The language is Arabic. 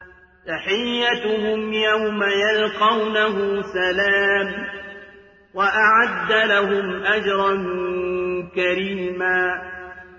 تَحِيَّتُهُمْ يَوْمَ يَلْقَوْنَهُ سَلَامٌ ۚ وَأَعَدَّ لَهُمْ أَجْرًا كَرِيمًا